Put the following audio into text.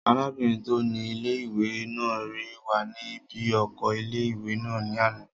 Arábìnrin tó ni ilé-ìwé náà rí wa ní bí oko ilé-ìwé náà ní àná